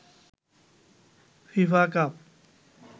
FIFA cup